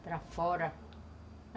para fora.